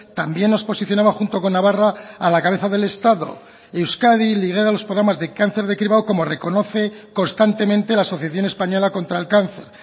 también nos posicionaba junto con navarra a la cabeza del estado euskadi lidera los programas de cáncer de cribado como reconoce constantemente la asociación española contra el cáncer